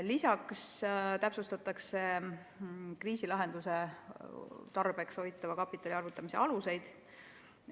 Lisaks täpsustatakse kriisilahenduse tarbeks hoitava kapitali arvutamise aluseid.